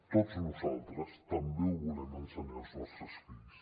tots nosaltres també ho volem ensenyar als nostres fills